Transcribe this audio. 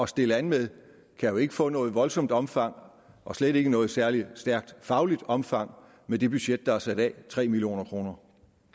stille an med kan jo ikke få noget voldsomt omfang og slet ikke noget særlig stærkt fagligt omfang med det budget der er sat af tre million kroner